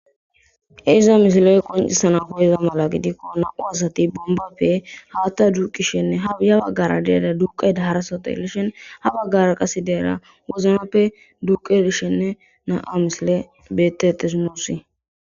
iza mishiloy qoncisana ko iza mala gidikko nau asati bombappe haatta duuqishenne haiya baggara deada duqay da harasoto elishen ha baggara qase deera woznappe duqedishenne na7a misile betetesinossi